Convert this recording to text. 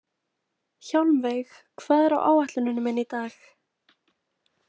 Hjálmveig, hvað er á áætluninni minni í dag?